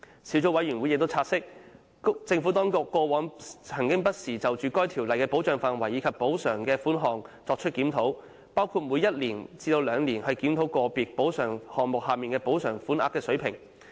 小組委員會亦察悉，政府當局過往曾不時就《條例》的保障範圍及補償款額作出檢討，包括每一至兩年檢討個別補償項目下的補償款額水平。